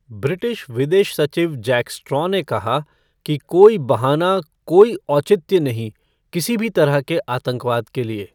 British विदेश सचिव Jack Straw ने कहा कि "कोई बहाना, कोई औचित्य नहीं, किसी भी तरह के आतंकवाद के लिए"।